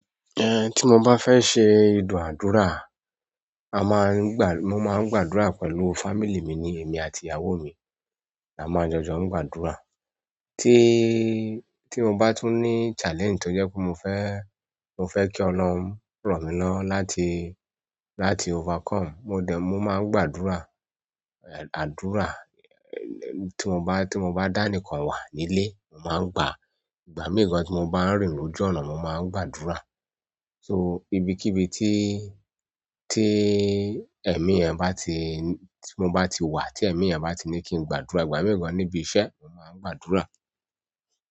Ti mo bá fẹ́ se ìdúàdúrà, a máa ń gbà, mo máa ń gbàdúrà pẹ̀lú "family" mi ni èmi àti ìyàwó mi. A máa jó jó ń gbádùra. Tí, tí mo bá tún ní "challenge" tó jẹ́ pé mo fẹ́, mo fẹ́ kí Ọlorun ran mí lọwo láti, láti "overcome", mo dẹ̀, mo máa ń gbàdúrà. Àdúrà, tí mo bá, tí mo bá dánikàn wà nílé, mo máa ń gba, ìgbà mìíràn tí mo bá ń rìn lójú ọ̀nà, mo máa ń gbàdúrà. "So", ibikíbi tí, tí ẹ̀mí yẹn bá ti, tí mo bá ti wà tí ẹ̀mí yẹn bá ti ní kí n gbàdúrà, ìgbà mìí gàn níbi iṣẹ́, máa gbàdúrà.